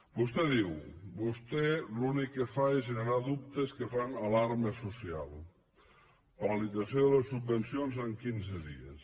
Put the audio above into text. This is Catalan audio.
vostè ha diu vostè l’únic que fa és generar dubtes que fan alarma social paralització de les subvencions en quinze dies